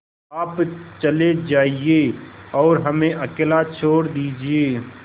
आप चले जाइए और हमें अकेला छोड़ दीजिए